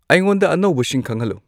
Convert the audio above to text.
ꯑꯩꯉꯣꯟꯗ ꯑꯅꯧꯕꯁꯤꯡ ꯈꯪꯍꯟꯂꯨ